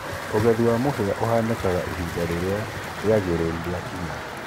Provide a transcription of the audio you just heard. ũgethĩ wa mũhĩa ũhaanĩkaga ĩhĩnda rĩrĩa rĩagĩrĩrũ rĩakĩnya